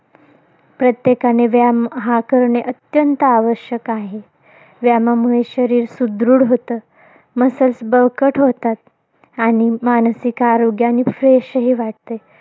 प्रत्येकाने व्यायाम हा करणे, अत्यंत आवश्यक आहे. व्यायामामुळे शरीर सुदृढ होतं. muscles बळकट होतात. आणि मानसिक आरोग्यानी fresh ही वाटते.